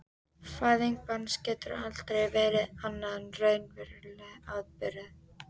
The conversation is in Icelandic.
Fæðing barns getur aldrei verið annað en raunverulegur atburður.